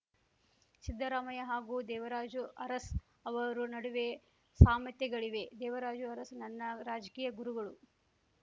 ಸಿದ್ದರಾಮಯ್ಯ ಹಾಗೂ ದೇವರಾಜು ಅರಸ್ ಅವರು ನಡುವೆ ಸಾಮತ್ಯೆಗಳಿವೆ ದೇವರಾಜು ಅರಸು ನನ್ನ ರಾಜಕೀಯ ಗುರುಗಳು